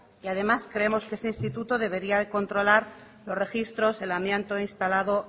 y además creemos que ese instituto debería de controlar los registros del amianto instalado